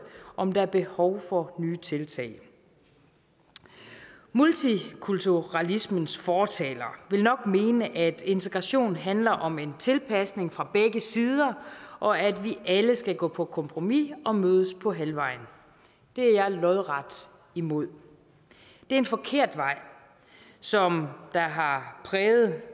om der er behov for nye tiltag multikulturalismens fortalere vil nok mene at integration handler om en tilpasning fra begge sider og at vi alle skal gå på kompromis og mødes på halvvejen det er jeg lodret imod det er en forkert vej som har præget